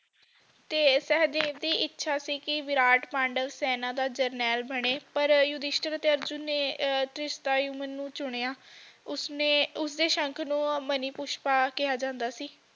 ਤੇ ਸਹਿਦੇਵ ਦੀ ਇੱਛਾ ਸੀ ਕਿ ਵਿਰਾਟ ਪਾਂਡਵ ਸੈਨਾ ਦਾ ਜਰਨੈਲ ਬਣੇ ਪਰ ਯੁਧਿਸ਼ਟਰ ਤੇ ਅਰਜੁਨ ਨੇ ਧਰਿਸ਼ਟਾਯੁਮਨ ਨੂੰ ਚੁਣਿਆ ਉਸਦੇ ਸ਼ੰਖ ਨੂੰ ਮਾਨੀਪੁਸ਼ਪਾ ਕਿਹਾ ਜਾਂਦਾ ਸੀ